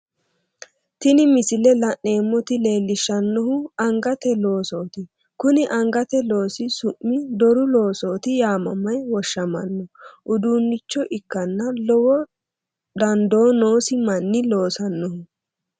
Tini misile la'neemmoti leellishshannohu angate loosooti, kuni angate loosi su'mi doru loosooti yaamame woshshamanno uduunnicho ikkanna lowo dandoo noosi manni loosannoho.